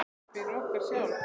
Fyrir okkur sjálf.